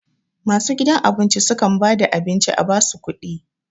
Masu gidan abinci su kam ba da abin ci a ba su kuɗi